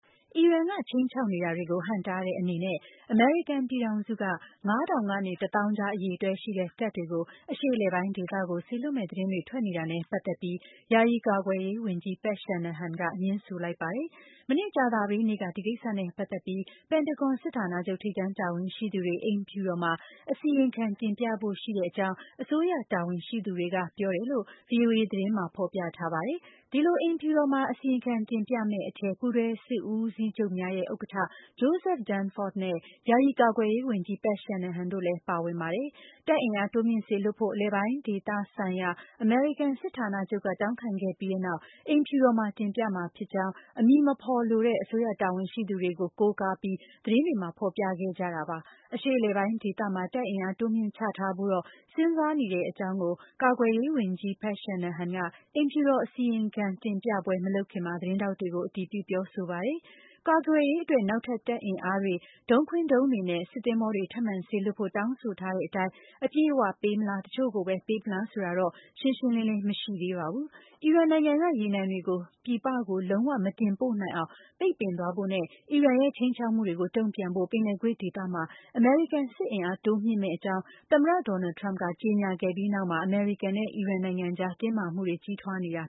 အီရန်က ခြိမ်းခြောက်နေတာတွေကို ဟန့်တားတဲ့ အနေနဲ့ အမေရိကန် ပြည်ထောင်စုက ငါးထောင် ကနေ တသောင်းကြား အရေအတွက်ရှိတဲ့ တပ်တွေကို အရှေ့အလယ်ပိုင်း ဒေသကို စေလွှတ်မယ့် သတင်းတွေထွက် နေတာနဲ့ ပတ်သက်ပြီး ယာယီ ကာကွယ်ရေးဝန်ကြီး Pat Shanahan က ငြင်းဆိုလိုက်ပါတယ်။ မနေ့ ကြာသပတေးနေ့က ဒီကိစ္စနဲ့ ပတ်သက်ပြီး ပင်တဂွန်စစ်ဌာနချုပ် ထိပ်တန်းတာဝန်ရှိသူတွေ အိမ်ဖြူတော်မှာ အစီရင်ခံတင်ပြဖို့ ရှိတဲ့အကြောင်း အစိုးရ တာဝန်ရှိသူတွေက ပြောကြောင်းလည်း VOA သတင်းမှာ ဖော်ပြထားတာပါ။ ဒီလို အိမ်ဖြူတော်မှာ အစီရင်ခံတင်ပြမယ့် အထဲ ပူးတွဲ စစ်ဦးစီးချုပ်များရဲ့ ဥက္ကဋ္ဌ Joseph Dunford နဲ့ ယာယီ ကာကွယ်ရေးဝန်ကြီး Pat Shanahan တို့လည်းပါဝင်ပါတယ်။ တပ်အင်အားတိုးမြှင့် စေလွှတ်ဖို့ အလယ်ပိုင်းဒေသဆိုင်ရာ အမေရိကန် စစ်ဌာနချုပ်က တောင်းခံခဲ့ပြီးနောက် အိမ်ဖြူတော်မှာ တင်ပြမှာဖြစ်ကြောင်း၊ အမည်မဖော်လိုသူတဲ့ အစိုးရတာဝန်ရှိသူတွေကို ကိုးကားပြီး သတင်းတွေမှာ ဖော်ပြခဲ့ကြတာပါ။ အရှေ့အလယ်ပိုင်း ဒေသမှာ တပ်အင်အားတိုးမြှင့်ချထားဖို့တော့ စဉ်းစားနေတဲ့ အကြောင်း ကိုတော့ ကာကွယ်ရေးဝန်ကြီး Pat Shanahan က အိမ်ဖြူတော်အစီရင်ခံ တင်ပြပွဲမလုပ်ခင်မှာ သတင်းထောက်တွေကို အတည်ပြုပြောဆိုပါတယ်။ ကာကွယ်ရေးအတွက် နောက်ထပ် တပ်အင်အားတွေ၊ Patriot ဒုံးတွေနဲ့ စစ်သင်္ဘောတွေ ထပ်မံစေလွှတ်ဖို့ တောင်းဆိုထားတဲ့အတိုင်း အပြည့်အ၀ ပေးမလား၊ တချို့ကိုပဲ ပေးမလားဆိုတာကတော့ ရှင်းရှင်းလင်းလင်း မရှိသေးပါဘူး။ အီရန်နိုင်ငံက ရေနံတွေ ပြည်ပကိုလုံး၀ မတင်ပို့နိုင်အောင် ပိတ်ပင်သွားဖို့နဲ့ အီရန်ရဲ့ ခြိမ်းခြောက်မှုတွေကို တုံ့ပြန်ဖို့ ပင်လယ်ကွေ့ဒေသမှာ အမေရိကန်စစ်အင်အား တိုးမြှင့်မယ့်အကြောင်း သမ္မတ Donald Trump က ကြေညာခဲ့ပြီး နောက်မှာပဲ အမေရိကန်နဲ့ အီရန်ကြား တင်းမာမှုတွေ ကြီးထွားလာနေတာ